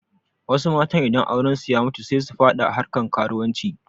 Wasu idan aurensu ya mutu sai su faɗa harkan karuwanci